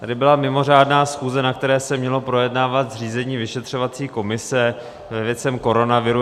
Tady byla mimořádná schůze, na které se mělo projednávat zřízení vyšetřovací komise k věcem koronaviru.